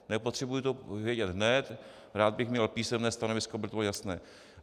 Nepotřebuji to vědět hned, rád bych měl písemné stanovisko, aby to bylo jasné.